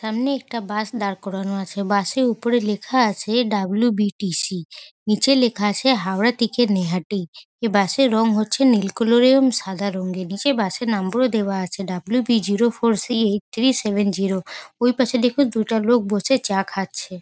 সামনে একটা বাস দাঁড় করানো আছে। বাস -এর উপরে লেখা আছে ডাবলু.বি.টি.সি । নিচে লেখা আছে হাওড়া থেকে নৈহাটী। এই বাস -এর রং হচ্ছে নীল কালার -ও সাদা রঙের। নিচে বাস -এর নম্বর ও দেওয়া আছে W B zero four C eight three seven zero ওই পাশে দেখুন দুটো লোক বসে চা খাচ্ছে।